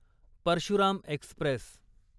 Parshuram Express